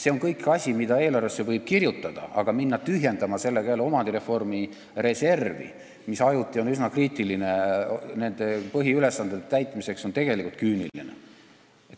Seda kõike võib eelarvesse kirjutada, aga hakata sellega jälle tühjendama omandireformi reservi, mis põhiülesannete täitmisel on ajuti üsna kriitilises olukorras, on tegelikult küüniline.